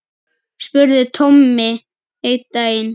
spurði Tommi einn daginn.